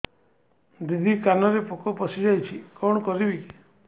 ଦିଦି କାନରେ ପୋକ ପଶିଯାଇଛି କଣ କରିଵି